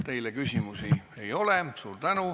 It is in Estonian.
Teile küsimusi ei ole.